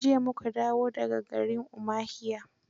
Jiya mu ka dawo da ga garin Umahiya.